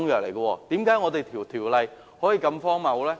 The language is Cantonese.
為何《條例》可以如此荒謬呢？